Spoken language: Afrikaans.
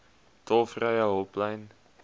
tolvrye hulplyn